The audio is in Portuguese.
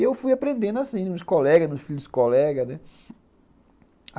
E eu fui aprendendo assim, nos colegas, nos filhos dos colegas, né.